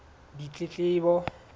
ditletlebo